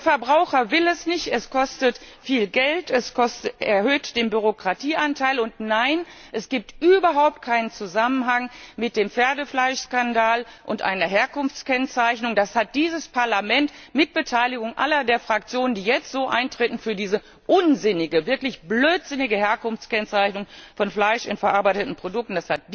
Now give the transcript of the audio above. Der Verbraucher will es nicht, es kostet viel Geld, es erhöht den Bürokratieanteil, und es gibt überhaupt keinen Zusammenhang zwischen dem Pferdefleischskandal und einer Herkunftskennzeichnung. Das hat dieses Parlament mit Beteiligung all der Fraktionen, die jetzt so eintreten für diese unsinnige, wirklich blödsinnige Herkunftskennzeichnung von Fleisch in verarbeiteten Produkten,